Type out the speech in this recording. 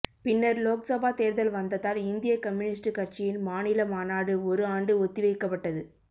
பின்னர் லோக்சபா தேர்தல் வந்ததால் இந்திய கம்யூனிஸ்ட் கட்சியின் மாநில மாநாடு ஒரு ஆண்டு ஒத்தி வைக்கப்பட்டது